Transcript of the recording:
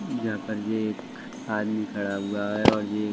जहाँ पर ये एक आदमी खड़ा हुआ है और ये --